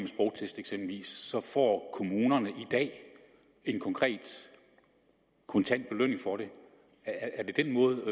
sprogtest får kommunerne i dag en konkret kontant belønning er det den måde